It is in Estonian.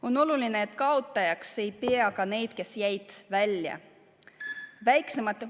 On oluline, et kaotajaks ei peeta ka neid, kes jäid välja.